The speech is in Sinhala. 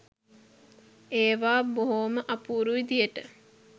ඒවා බොහොම අපූරු විදිහට